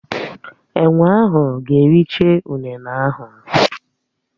Enwé ahụ ga-ericha ụnene ahụ.